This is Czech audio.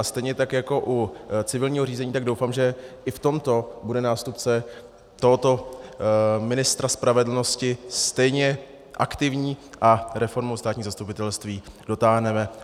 A stejně tak jako u civilního řízení, tak doufám, že i v tomto bude nástupce tohoto ministra spravedlnosti stejně aktivní a reformu státního zastupitelství dotáhneme.